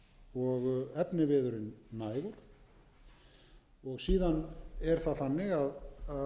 og efniviðurinn nægur síðan er það þannig að